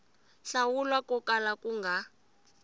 hlawula ko kala ku nga